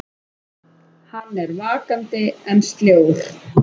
Hann er vakandi en sljór.